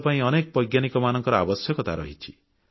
ଦେଶ ପାଇଁ ଅନେକ ବୈଜ୍ଞାନିକମାନଙ୍କ ଆବଶ୍ୟକତା ରହିଛି